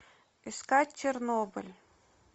искать чернобыль